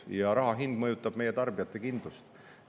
Ja raha hind mõjutab meie tarbijate kindlust.